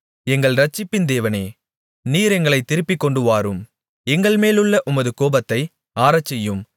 எங்கள் இரட்சிப்பின் தேவனே நீர் எங்களைத் திருப்பிக் கொண்டுவாரும் எங்கள்மேலுள்ள உமது கோபத்தை ஆறச்செய்யும்